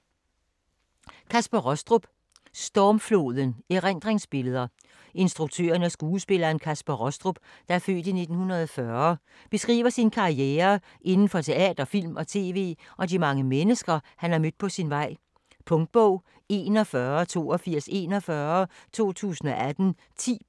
Rostrup, Kaspar: Stormfloden: erindringsbilleder Instruktøren og skuespilleren Kaspar Rostrup (f. 1940) beskriver sin karriere inden for teater, film og tv og de mange mennesker, han har mødt på sin vej. Punktbog 418241 2018. 10 bind.